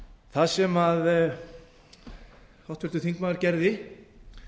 það sem háttvirtur þingmaður gerði